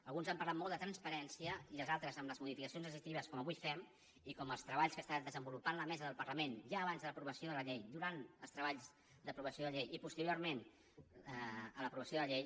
alguns han parlat molt de transparència i els altres amb les modificacions legislatives com les que avui fem i amb els treballs que està desenvolupant la mesa del parlament ja abans l’aprovació de la llei durant els treballs d’aprovació de la llei i posteriorment a l’aprovació de la llei